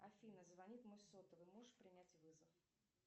афина звонит мой сотовый можешь принять вызов